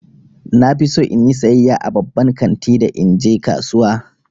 Na fi so in yi sayayya a babban kanti da in je kasuwa.